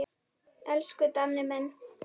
Elsku Danni minn.